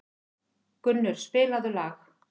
Gunnur, spilaðu lag.